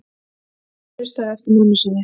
Hann hlustaði eftir mömmu sinni.